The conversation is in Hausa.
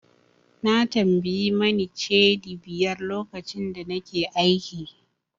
Na tambayi Mane Cedi biyar lokacin da nake aiki.